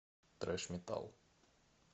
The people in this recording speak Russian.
трэш метал